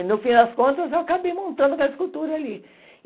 E, no fim das contas, eu acabei montando aquela escultura ali.